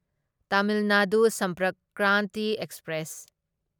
Tamil Nadu Sampark Kranti express